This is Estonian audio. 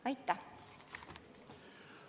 Aitäh!